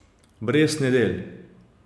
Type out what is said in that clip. Brez nedelj.